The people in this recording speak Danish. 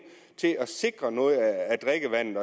til at sikre noget af drikkevandet